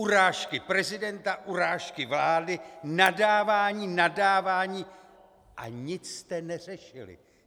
Urážky prezidenta, urážky vlády, nadávání, nadávání a nic jste neřešili.